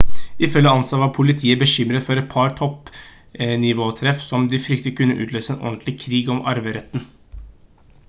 ifølge ansa «var politiet bekymret for et par toppnivåtreff som de fryktet kunne utløse en ordentlig krig om arveretten